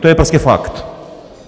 To je prostě fakt.